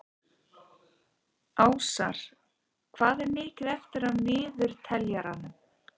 Ásar, hvað er mikið eftir af niðurteljaranum?